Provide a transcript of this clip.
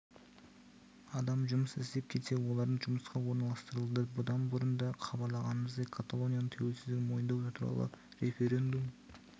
адам жұмыс іздеп келсе олардың жұмысқа орналастырылды бұдан бұрын да хабарлағанымыздай каталонияның тәуелсіздігін мойындау туралы референдум